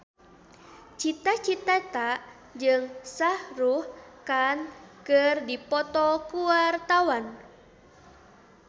Cita Citata jeung Shah Rukh Khan keur dipoto ku wartawan